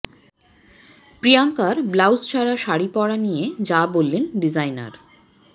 প্রিয়াঙ্কার ব্লাউজ ছাড়া শাড়ি পরা নিয়ে যা বললেন ডিজাইনার